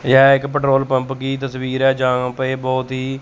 यह एक petrol pump की तस्वीर है जहां प ये बहोत ही--